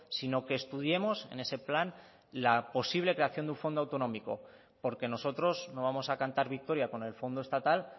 sino que estudiemos en ese plan la posible creación de un fondo autonómico porque nosotros no vamos a cantar victoria con el fondo estatal